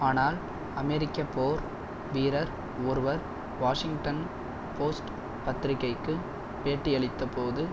ஆனால் அமெரிக்க போர் வீரர் ஒருவர் வாஷிங்டன் போஸ்ட் பத்திரிகைக்கு பேட்டியளித்த போது